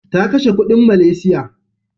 Ta kashe kuɗin Malaysia.